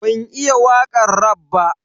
Ban iya wakan raf ba.